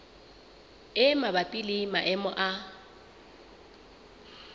e mabapi le maemo a